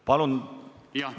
Palun!